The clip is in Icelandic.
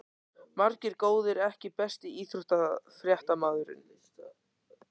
Margir góðir EKKI besti íþróttafréttamaðurinn?